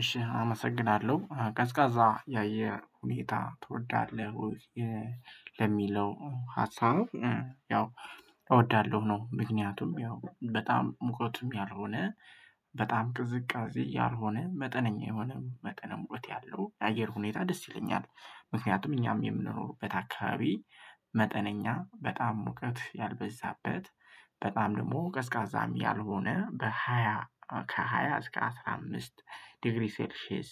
እሺ አመሰግናለሁ ቀዝቃዛ የአየር ሁኔታ ትወዳለህ ወይ? ለሚለው ሀሳብ ያው እወዳለሁ ነው ምክንያቱም ያው በጣም ሙቀቱ ያልሆነ በጣም ቅዝቃዜ ያልሆነ መጠነኛ የሆነ መጠነ ሙቀት ያለው የአየር ሁኔታ ደስ ይለኛል። ምክንያቱም እኛም የምንኖርበት አካባቢ መጠነኛ በጣም ሙቀት ያልበዛበት በጣም ደግሞ ቀዝቃዛም ያልሆነ በሃያ ከሃያ እስከ አስራ አምስት ዲግሪ ሰልሼየስ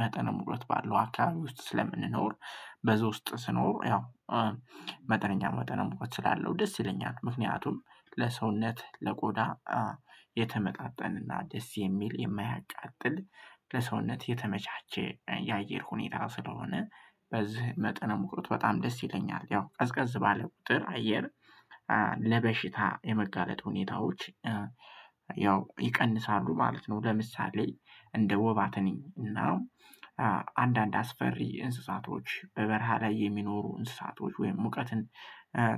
መጠን ባለው አካባቢ ውስጥ ስለምንኖር በዛ ውስጥ ስኖር ያው መጠነኛ መጠነ ሙቀት ስላለው ደስ ይለኛል። ምክንያቱም ለሰውነት ለቆዳ የተመጣጠነና ደስ የሚል የማያቃጥል ለሰውነት የተመቻቸ የአየር ሁኔታ ስለሆነ በዚህ መጠን ሙቀት በጣም ደስ ይተኛል ያው ቀዝቀዝ ባለ ቁጥር አየር ለበሽታ የመጋለጥ ሁኔታዎች ያው ይቀንሳሉ ማለት ነው። ለምሳሌ እንደ ወባ ትንኝ እና አንዳንድ አስፈሪ እንስሳቶች በበረሃ ላይ የሚኖሩ እንስሳቶች ወይም ሙቀትን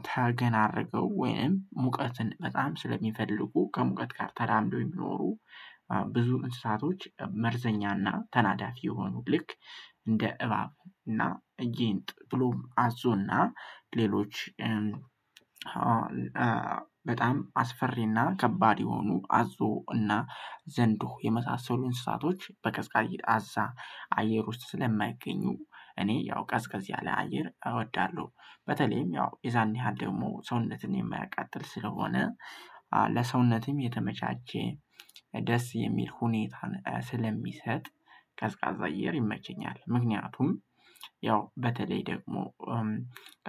ታገን አረገው ወይም ሙቀትን በጣም ስለሚፈልጉ ከሙቀት ጋር ተራምዶ የሚኖሩ ብዙ እንስሳቶች መርዘኛና ተናዳፊ የሆኑ ልክ እንደ እባብ እና ጊጥ ብሎም አዞና ሌሎች በጣም አስፈሪና ከባድ የሆኑ አዞ እና ዘንዶ የመሳሰሉ እንስሳቶች በቀዝቃዛ አየር ውስጥ ስለማይገኙ እኔ ያው ቀዝቀዝ ላይ አየር እወዳለሁ። በተለይም ያው የዛንያህል ደግሞ ሰውነትን የማያቃጥል ስለሆነ ለሰውነትም የተመቻቸ ደስ የሚል ሁኔታን ስለሚሰጥ ቀዝቃዛ አየር ይመቸኛል ምክንያቱም ያው በተለይ ደግሞ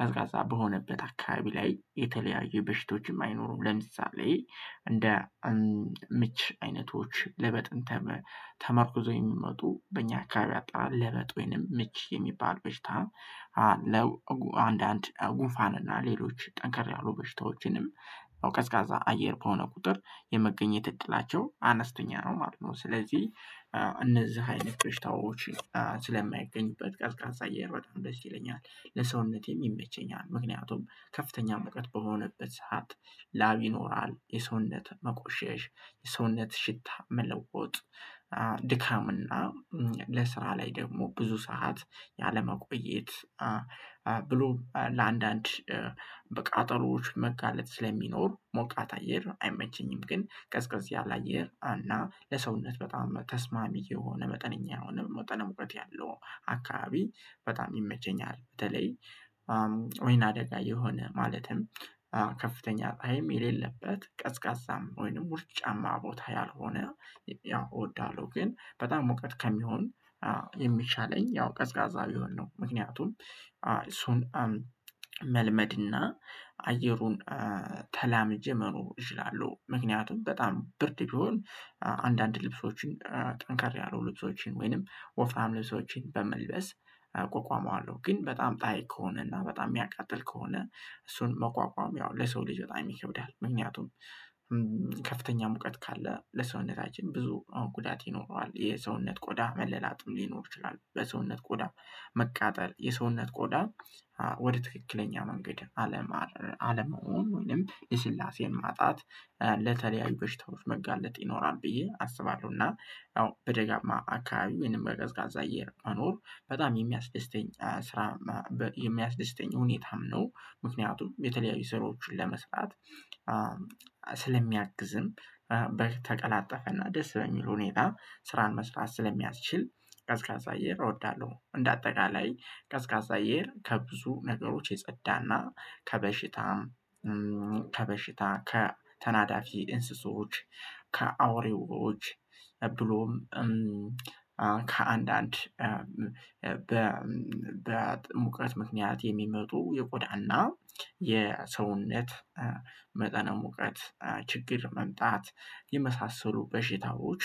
ቀዝቃዛ በሆነበት አካባቢ ላይ የተለያዩ በሽታዎችም አይኖሩም ለምሳሌ እንደ ምች አይነቶች ለበጥን ተመርኩዞ የሚመጡ በእኛ አካባቢ አጣ ለመጥ ወይንም ምች የሚባል በሽታም አለው አንዳንድ ጉፋን እና ሌሎች ጠንከር ያሉ በሽታዎችንም ቀዝቃዛ አየር ከሆነ ቁጥር የመገኘት እድላቸው አነስተኛ ነው ማለት ነው። ስለዚህ እነዚህ አይነት በሽታዎች ስለማይገኙበት ቀዝቃዛ አየር በጣም ደስ ይለኛል። ለሰውነቴ ይመቸኛል ምክንያቱም ከፍተኛ ሙቀት በሆነበት ሰዓት ላብ ይኖራል የሰውነት መቆሸሽ የሰውነት ሽታ መለወጥ ድካምና ለስራ ላይ ደግሞ ብዙ ሰዓት ያለመቆየት ብሎ ለአንዳንድ በቃጠሎዎች መጋለጥ ስለሚኖር ሞቃት አየር አይመቸኝም ግን ቀዝቀዝ ያለ አየር እና ለሰውነት በጣም ተስማሚ የሆነ መጠነኛ የሆነ መጠነ ሙቀት ያለው አካባቢ በጣም ይመቸኛል በተለይ ወይና አደጋ የሆነ ማለትም ከፍተኛ ጥሃይም የሌለበት ቀዝቃዛም ወይንም ውርጫማ ቦታ ያልሆነ ያው እወዳለሁ ግን በጣም ሙቀት ከሚሆን የሚሻለኝ ያው ቀዝቃዛ ቢሆን ነው። ምክንያቱም እሱን መልመድና አየሩን ተላምጀ መኖር እችላለሁ ምክንያቱም በጣም ብርድ ቢሆን አንዳንድ ልብሶችን ጠንከር ያሉ ልብሶችን ወይንም ወፍራም ልብሶችን በመልበስ እቆቋመዋለሁ ግን በጣም ጣህይ ከሆነና በጣም የሚያቃጥል ከሆነ እሱን መቋቋም ያው ለሰው ልጅ በጣም ይከብዳል። ምክንያቱም ከፍተኛ ሙቀት ካለ ለሰውነታችን ብዙ ጉዳት ይኖረዋል የሰውነት ቆዳ መለላጥም ሊኖር ይችላል። በሰውነት ቆዳ መቃጠል የሰውነት ቆዳ ወደ ትክክለኛ መንገድ አለመሆን ወይንም የልስላሴን ማጣት ለተለያዩ በሽታዎች መጋለጥ ይኖራል ብዬ አስባለሁና ያው በደጋማ አካባቢ ወይንም በቀዝቃዛ አየር መኖር በጣም የሚያስደስተኝ ስራ የሚያስደስተኝ ሁኔታም ነው። ምክንያቱም የተለያዩ ስራዎችን ለመስራት ስለሚያግዝም በተቀላጠፈና ደስ በሚል ሁኔታ ስራን መስራት ስለሚያስችል ቀዝቃዛ አየር እወዳለሁ። እንደ አጠቃላይ ቀዝቃዛ አየር ከብዙ ነገሮች የጸዳና ከበሽታም ከበሽታ ከተናዳፊ እንስሶች ከአውሬዎች ብሎም ከአንዳንድ በሙቀት ምክንያት የሚመጡ የቆዳና የሰውነት መጠነ ሙቀት ችግር መምጣት የመሳሰሉ በሽታዎች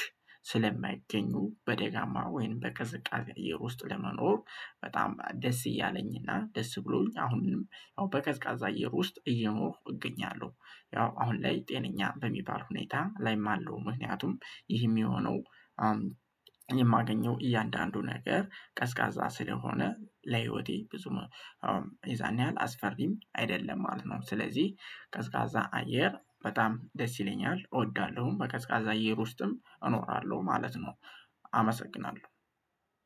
ስለማይገኙ በደጋማ ወይንም በቀዝቃዜ አየር ውስጥ ለመኖር በጣም ደስ እያለኝና ደስ ብሎኝ አሁንም ያው በቀዝቃዛ አየር ውስጥ እየኖርኩ እገኛለሁ። ያው አሁን ላይ ጤነኛ በሚባል ሁኔታ ላይም አለሁ ምክንያቱም ይህም የሆነው የማገኘው እያንዳንዱ ነገር ቀዝቃዛ ስለሆነ ለህይወቴ ብዙ የዛን ያህል አስፈሪም አይደለም ማለት ነው። ስለዚህ ቀዝቃዛ አየር በጣም ደስ ይለኛል እወዳለሁም በቀዝቃዛ አየር ውስጥም እኖራለሁ። ማለት ነው።